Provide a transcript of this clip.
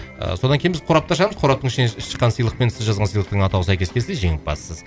ы содан кейін біз қорапты ашамыз қораптың ішінен шыққан сыйлықпен сіз жазған сыйлықтың атауы сәйкес келсе жеңімпазсыз